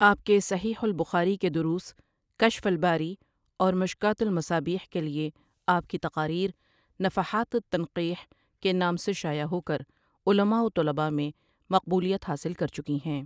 آپ کے صحیح البخاری کے دروس کشف الباری اور مشکوٰة المصابیح کے لیے آپ کی تقاریر نفحات التنقیح کے نام سے شائع ہو کر علما و طلبا میں مقبولیت حاصل کر چکی ہیں۔